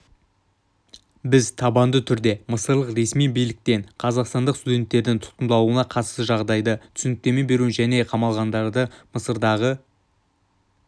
біз табанды түрде мысырлық ресми биліктен қазақстандық студенттердің тұтқындалуына қатысты жағдайға түсініктеме беруін және қамалғандарға мысырдағы